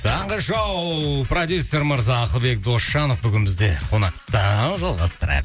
таңғы шоу продюссер мырза ақылбек досжанов бүгін бізде қонақта жалғастырайық